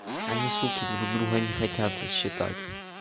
они суки друг друга не хотят считать